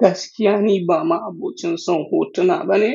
Gaskiya ni ba ma abocin son hotuna bane.